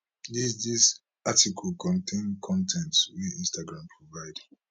dis dis article contain con ten t wey instagram provide